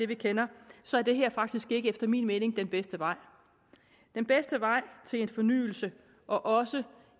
vi kender så er det her faktisk efter min mening ikke den bedste vej den bedste vej til fornyelse og også